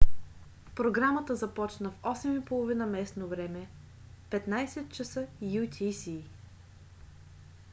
програмата започна в 20:30 ч. местно време 15.00 utc